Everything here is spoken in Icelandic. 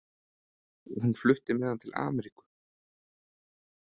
Hún flutti með hann til Ameríku.